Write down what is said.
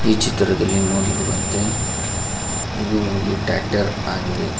ಈ ಚಿತ್ರದಲ್ಲಿ ನೋಡಿರುವಂತೆ ಇದು ಒಂದು ಟ್ರಾಕ್ಟಾರ್ ಆಗಿದೆ.